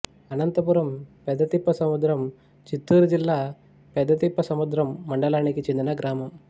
అనంతపురం పెద్దతిప్ప సముద్రం చిత్తూరు జిల్లా పెద్దతిప్పసముద్రం మండలానికి చెందిన గ్రామం